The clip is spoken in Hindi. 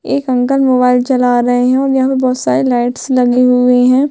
एक अंकल मोबाईल चला रहै है और यहाँ पे बहुत सारे लाइटस लगे हुए है।